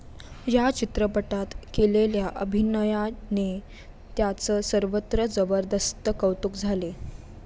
या चित्रपटात केलेल्या अभिनयाने त्याचं सर्वत्र जबरदस्त कौतुक झाले.